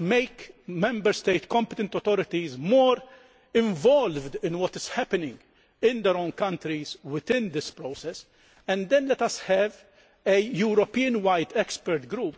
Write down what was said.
let us make the competent authorities in the Member States more involved in what is happening in their own countries within this process, and then let us have a Europe wide expert group